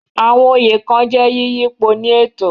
Àwọn oyè kan jẹ́ yíyípo ní ètò.